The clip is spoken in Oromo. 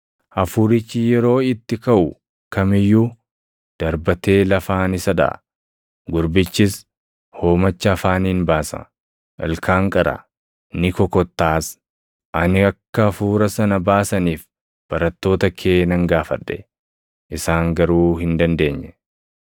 Hafuurichi yeroo itti kaʼu kam iyyuu, darbatee lafaan isa dhaʼa. Gurbichis hoomacha afaaniin baasa; ilkaan qara; ni kokottaaʼas. Ani akka hafuura sana baasaniif barattoota kee nan gaafadhe; isaan garuu hin dandeenye.”